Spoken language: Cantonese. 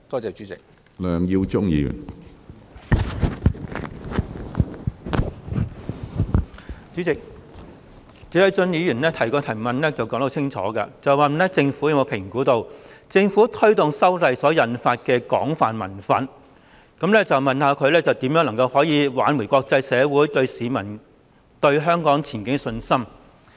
主席，謝偉俊議員的主體質詢很清楚，他問政府有否評估政府推動修例所引發的廣泛民憤，以及有何措施挽回國際社會及市民對香港前景的信心？